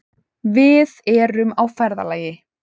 Við erum á ferðalagi.